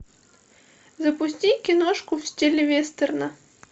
запусти киношку в стиле вестерна